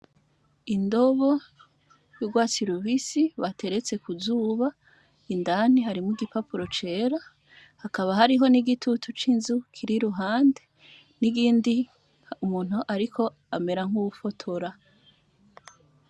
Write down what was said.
Indobo y'urwatsi rubisi bateretse ku zuba; indani harimwo igipapuro cera. Hakaba hariho n'igitutu c'inzu kiri iruhande, n'iyindi umuntu ariko amera nk'uwufotora.